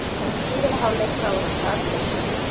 En í síðari hálfleik þá var þetta aldrei spurning.